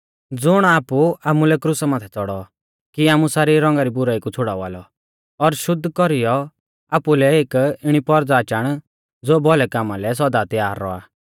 ज़ुण आपु आमुलै क्रुसा माथै च़ौड़ौ कि आमु सारी रौंगा री बुराई कु छ़ुड़ावा लौ और शुद्ध कौरीयौ आपुलै एक इणी पौरज़ा चाण ज़ो भौलै कामा लै सौदा तैयार रौआ